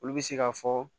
Olu bɛ se ka fɔ